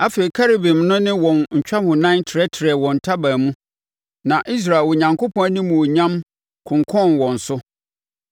Afei, Kerubim no ne wɔn ntwahonan trɛtrɛɛ wɔn ntaban mu, na Israel Onyankopɔn animuonyam konkɔnn wɔn so.